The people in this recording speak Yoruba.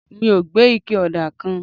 mo gbé ike òdà kan